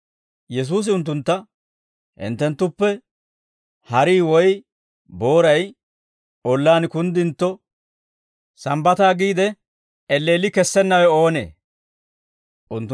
Yesuusi unttuntta, «Hinttenttuppe harii woy booray ollaan kunddintto, Sambbataa giide elleelli kessennawe oonee?» geedda.